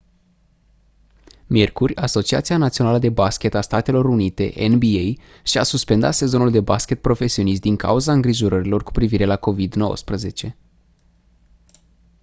miercuri asociația națională de baschet a statelor unite nba și-a suspendat sezonul de baschet profesionist din cauza îngrijorărilor cu privire la covid-19